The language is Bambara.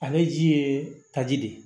Ale ji ye taji de ye